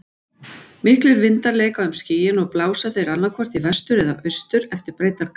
Miklir vindar leika um skýin og blása þeir annaðhvort í vestur eða austur eftir breiddargráðum.